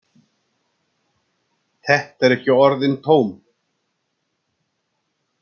Þetta eru ekki orðin tóm.